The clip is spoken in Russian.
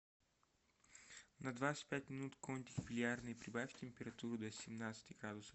на двадцать пять минут кондик в бильярдной прибавь температуру до семнадцати градусов